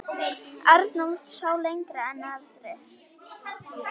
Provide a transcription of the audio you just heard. Arnold sá lengra en aðrir.